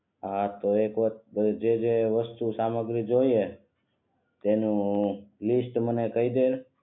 હા તો એક વાર જે જે વસ્તુ સામગ્રી જોઇએ એની લીસ્ટ મને કહી દે